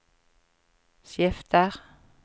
skifter